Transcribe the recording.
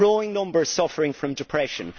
growing numbers suffering from depression